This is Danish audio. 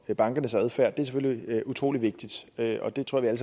og bankernes adfærd er selvfølgelig utrolig vigtigt og det tror jeg